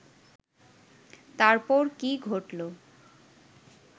তারপর কি ঘটল